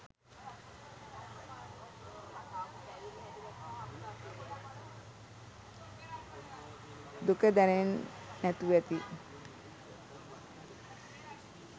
දුක දැනෙන් නැතුවැති